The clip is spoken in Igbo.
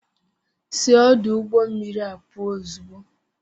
Si ọdụ ụgbọ mmiri a pụl ozugbo!